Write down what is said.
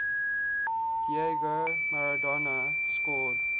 diego maradona scored